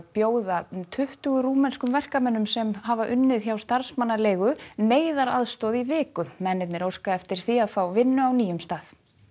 bjóða um tuttugu rúmenskum verkamönnum sem hafa unnið hjá starfsmannaleigu neyðaraðstoð í viku mennirnir óska eftir því að fá vinnu á nýjum stað